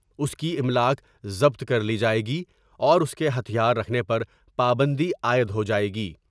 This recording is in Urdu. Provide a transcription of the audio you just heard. اس کی املاک ضبط کر لی جائے گی اور اس کے ہتھیار رکھنے پر پابندی عائد ہو جاۓ گی ۔